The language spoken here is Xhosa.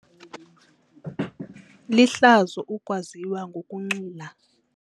Lihlazo ukwaziwa ngokunxila.